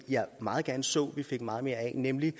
jeg meget gerne så vi fik meget mere af nemlig